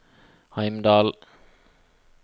Heimdal